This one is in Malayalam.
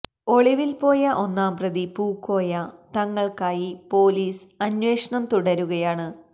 ഒളിവിൽ പോയ ഒന്നാം പ്രതി പൂക്കോയ തങ്ങൾക്കായി പൊലീസ് അന്വേഷണം തുടരുകയാണ്